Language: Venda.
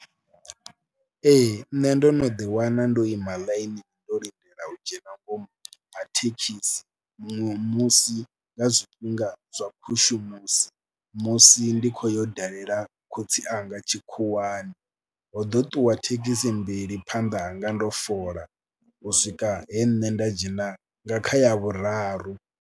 Ee nṋe ndo no ḓiwana ndo ima ḽainini ndo lindela u dzhena nga ngomu ha thekhisi muṅwe musi nga zwifhinga zwa khushumusi musi si ndi khou yo dalela khotsi anga tshikhuwani, ho ḓo ṱuwa thekhisi mbili phanḓa hanga ndo fola u swika he nṋe nda dzhena nga kha ya vhuraru.